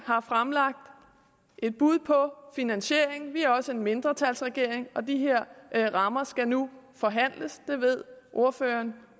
har fremlagt et bud på finansieringen vi er også en mindretalsregering og de her rammer skal nu forhandles det ved ordføreren